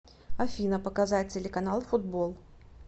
афина показать телеканал футбол